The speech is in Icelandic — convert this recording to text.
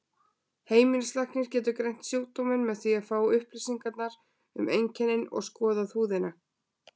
Heimilislæknir getur greint sjúkdóminn með því að fá upplýsingar um einkennin og skoða húðina.